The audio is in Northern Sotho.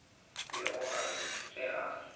bego a re ge a